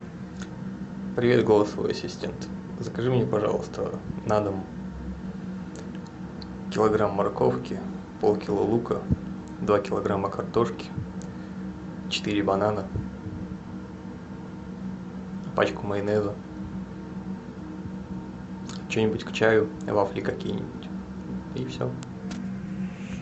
привет голосовой ассистент закажи мне пожалуйста на дом килограмм морковки полкило лука два килограмма картошки четыре банана пачку майонеза что нибудь к чаю вафли какие нибудь и все